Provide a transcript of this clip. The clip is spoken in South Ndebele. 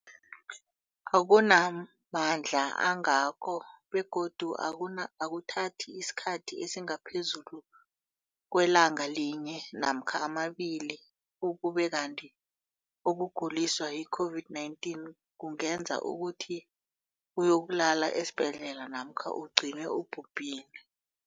akuna mandla angako begodu akuthathi isikhathi esingaphezulu kwelanga linye namkha mabili, ukube kanti ukuguliswa yi-COVID-19 kungenza ukuthi uyokulala esibhedlela namkha ugcine ubhubhile.